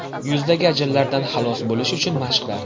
Yuzdagi ajinlardan xalos bo‘lish uchun mashqlar.